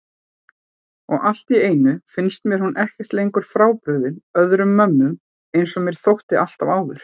Og alltíeinu finnst mér hún ekki lengur frábrugðin öðrum mömmum einsog mér þótti alltaf áður.